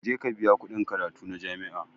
Je ka biya kuɗin karatu na jami'a